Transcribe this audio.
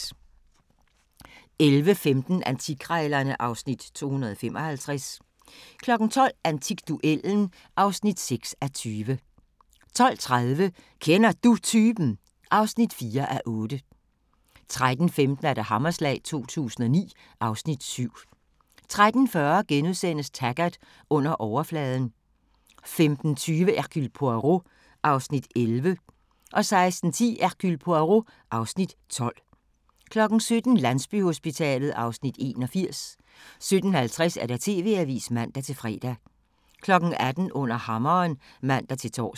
11:15: Antikkrejlerne (Afs. 255) 12:00: Antikduellen (6:20) 12:30: Kender Du Typen? (4:8) 13:15: Hammerslag 2009 (Afs. 7) 13:40: Taggart: Under overfladen * 15:20: Hercule Poirot (Afs. 11) 16:10: Hercule Poirot (Afs. 12) 17:00: Landsbyhospitalet (Afs. 81) 17:50: TV-avisen (man-fre) 18:00: Under Hammeren (man-tor)